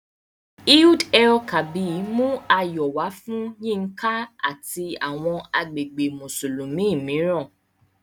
Eid-el-Kabir mú ayọ̀ wá fún Yinka àti àwọn agbègbè Mùsùlùmí mìíràn